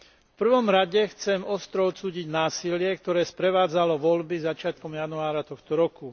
V prvom rade chcem ostro odsúdiť násilie, ktoré sprevádzalo voľby začiatkom januára tohto roku.